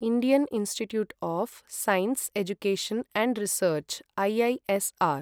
Indian Institute of Science Education and Research IISR